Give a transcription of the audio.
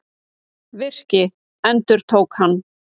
Virki, endurtók hann.